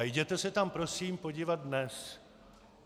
A jděte se tam prosím podívat dnes.